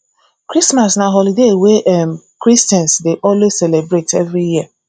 christmas na holiday wey um christians dey always celebrate every year